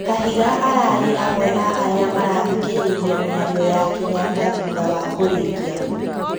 Kahiga ararĩ amwe a arĩa marathikĩrĩirie mĩario ya Kenyatta thutha wa kũrĩkia